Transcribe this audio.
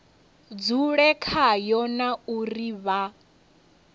dzule khayo na uri vha